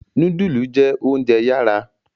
Nudulu jẹ ounjẹ yara